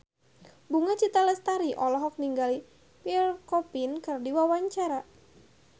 Bunga Citra Lestari olohok ningali Pierre Coffin keur diwawancara